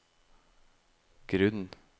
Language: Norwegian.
grunn